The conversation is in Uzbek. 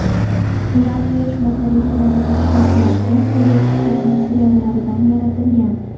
Ular quyosh batareyalarida ishlatiladigan perovskit materiallaridan yaratilgan.